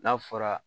N'a fɔra